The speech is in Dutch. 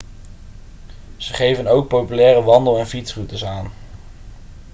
ze geven ook populaire wandel en fietsroutes aan